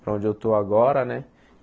para onde eu estou agora, né?